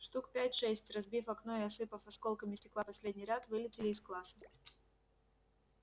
штук пять-шесть разбив окно и осыпав осколками стекла последний ряд вылетели из класса